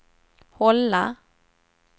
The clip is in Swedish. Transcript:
hålla